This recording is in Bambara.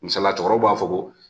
Misaliaya cɛkɔrɔbaw b'a fɔ ko